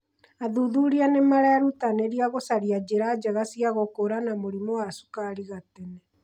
Athuthuria nĩ marerutanĩria gũcaria njĩra njega cia gũkũũrana mũrimũ wa cukari gatene.